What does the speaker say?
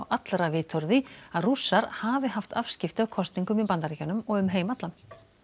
allra vitorði að Rússar hafi haft afskipti af kosningum í Bandaríkjunum og um heim allan